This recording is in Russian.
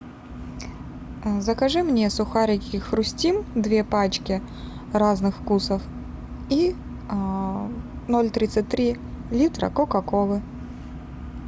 закажи мне сухарики хрустим две пачки разных вкусов и ноль тридцать три литра кока колы